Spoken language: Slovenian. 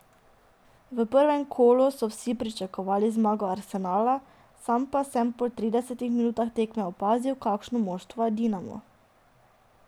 V prvem kolu so vsi pričakovali zmago Arsenala, sam pa sem po tridesetih minutah tekme opazil, kakšno moštvo je Dinamo.